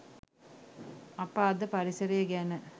අප අද පරිසරය ගැන